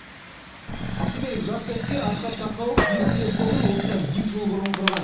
ақтөбелік жас кәсіпкер асхат тақауов еріктілер тобын осыдан екі жыл бұрын құрған